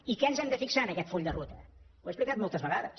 i què ens hem de fixar en aquest full de ruta ho he explicat moltes vegades